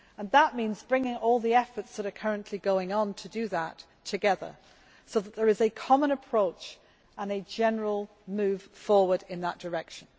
That means bringing all the efforts that are currently going on to do that together so that there is a common approach and a general move forward in that direction.